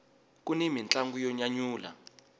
kuni mintlangu yo nyanyula